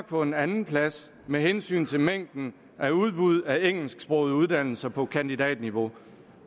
på en andenplads med hensyn til mængden af udbud af engelsksprogede uddannelser på kandidatniveau